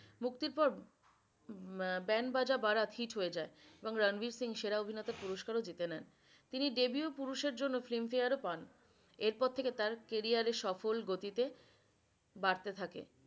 মুক্তির পর উম এ band baja barat hit হয়ে যায় এবং রানবির সিং সেরা অভিনেতা পুরস্কার ও জিতে নেন। তিনি debeu পুরুষ এর জন্য filmfare ও পান এরপর থেকে তার career সফল গতিতে বারতে থাকে।